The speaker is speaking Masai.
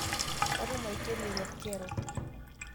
Katumo eikeno rekreko